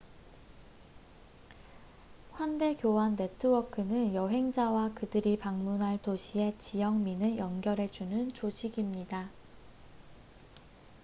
환대 교환 네트워크는 여행자와 그들이 방문할 도시의 지역민을 연결해주는 조직입니다